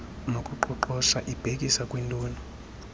nokuqoqosha ibhekisa kwintoni